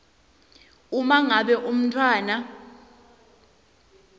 uma ngabe umntfwana